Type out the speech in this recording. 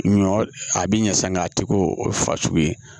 Ɲɔ a b'i ɲɛ sa nga a tɛ k'o ye fasugu ye